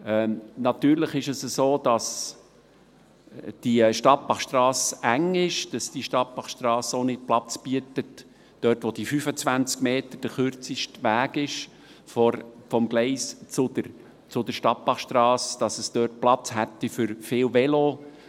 Natürlich ist es so, dass die Stadtbachstrasse eng ist, dass die Stadtbachstrasse dort, wo der kürzeste Weg vom Gleis zur Stadtbachstrasse 25 Meter sind, auch nicht Platz bietet für viele Velos.